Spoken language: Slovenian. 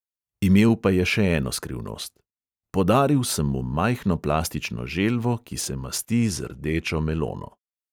Imel pa je še eno skrivnost: "podaril sem mu majhno plastično želvo, ki se masti z rdečo melono."